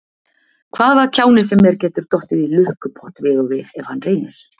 Hvaða kjáni sem er getur dottið í lukkupott við og við ef hann reynir.